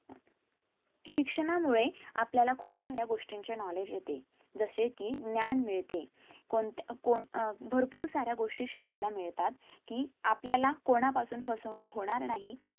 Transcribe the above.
शिक्षाणामुळे आपल्याला खुप साऱ्या गोष्टी चे knowledge येते जसेकी ज्ञान मिळते कोणत्या अह कोण अं भरपूर साऱ्या गोष्टी शिकला मिळतात कि आपल्याला कोणापासून फसवणूक होणार नाही